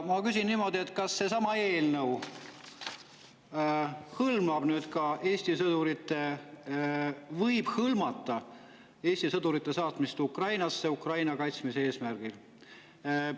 Ma küsin niimoodi: kas seesama eelnõu võib hõlmata Eesti sõdurite saatmist Ukrainasse Ukraina kaitsmise eesmärgil?